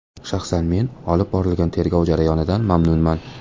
Shaxsan men olib borilgan tergov jarayonidan mamnunman.